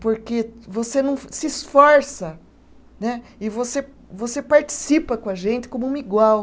Porque você não se esforça né, e você você participa com a gente como um igual.